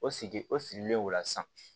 O sigi o sirilen o la sisan